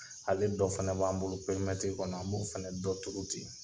Ale dɔ fana b'an bolo pɛrimɛiri kɔnɔ an b'o fana dɔ tuuru ten.